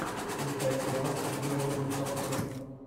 включай кино с дуэйном джонсоном